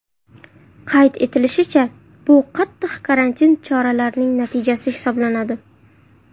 Qayd etilishicha, bu qattiq karantin choralarining natijasi hisoblanadi.